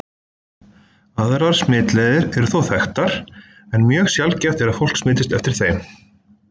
Aðrar smitleiðir eru þó þekktar, en mjög sjaldgæft er að fólk smitist eftir þeim.